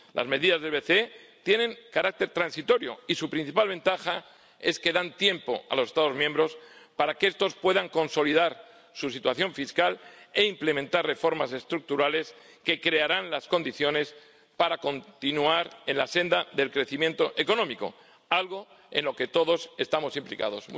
Las medidas del BCE tienen carácter transitorio, y su principal ventaja es que dan tiempo a los Estados miembros para que estos puedan consolidar su situación fiscal e implementar reformas estructurales que crearán las condiciones para continuar en la senda del crecimiento económico, algo en lo que todos estamos implicados.